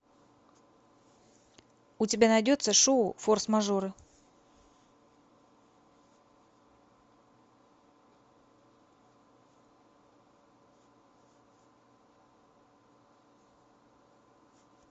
у тебя найдется шоу форс мажоры